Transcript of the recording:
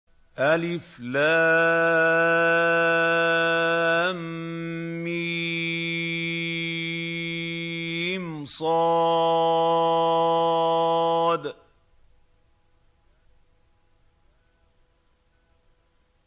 المص